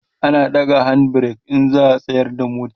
ana ɗaga hand break in za'a tsayar da mota